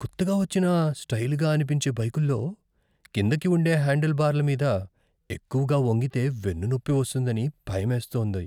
కొత్తగా వచ్చిన, స్టైలుగా అనిపించే బైకుల్లో కిందికి ఉండే హ్యాండిల్బార్ల మీద ఎక్కువగా వంగితే వెన్నునొప్పి వస్తుందని భయమేస్తోంది.